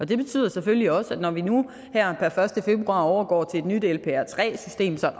det betyder selvfølgelig også at når vi nu her per første februar overgår til et nyt lpr3 system så